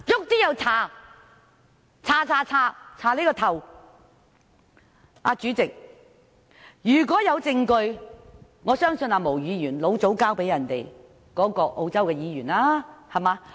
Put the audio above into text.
代理主席，如果有證據的話，我相信毛議員早已把證據交給澳洲國會議員。